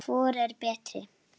Hvor er betri?